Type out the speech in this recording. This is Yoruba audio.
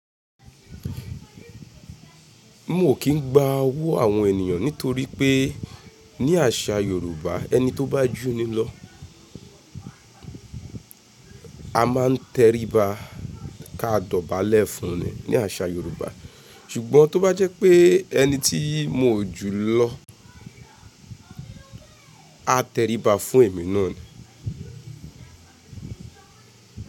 Mi ò kí ń gba owu àwọn ènìyàn nítorípé ní àṣà Yorùbá ẹni tó bá jù nílọ. A máa ń tẹrí ba ká dọ̀bálẹ̀ fún ni ní àṣà Yorùbá. Ṣùgbọ́n tó bá jẹ́ pé ẹni tí mo jù lọ á tẹrí ba fún èmi náà ni.